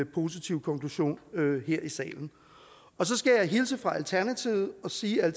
positiv konklusion her i salen så skal jeg hilse fra alternativet og sige at